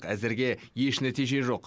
әзірге еш нәтиже жоқ